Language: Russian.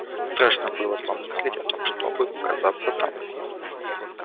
страшно было помыслить о том чтобы показаться там